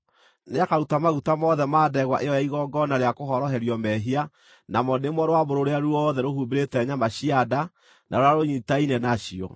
Nĩakaruta maguta mothe ma ndegwa ĩyo ya igongona rĩa kũhoroherio mehia, namo nĩmo rũambũ rũrĩa ruothe rũhumbĩire nyama cia nda na rũrĩa rũnyiitaine nacio,